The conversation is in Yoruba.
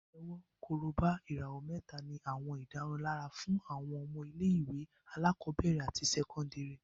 Pàtẹ́wọ́, Korobá, ìràwọ̀ mẹ́ta ní àwọn ìdárunlárà fún àwọn ọmọ ilé-ìwé alákọ̀ọ́bẹ̀rẹ̀ àti sẹ́kọ́ndìrì